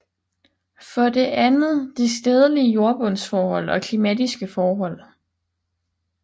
For det andet de stedlige jordbundsforhold og klimatiske forhold